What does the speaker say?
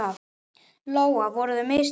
Lóa: Voru það mistök?